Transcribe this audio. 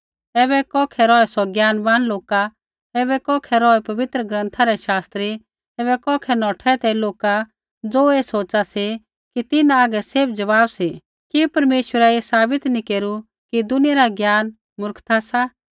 ऐबै कौखै रौहै सौ ज्ञानवान लोका ऐबै कौखै रौहै पवित्र ग्रन्था रै शास्त्री ऐबै कौखै नौठै ते लोका ज़ो ऐ सोच़ा सी कि तिन्हां हागै सैभ ज़वाब सी कि परमेश्वरै ऐ साबित नैंई केरू कि दुनिया रा ज्ञान मूर्खता सा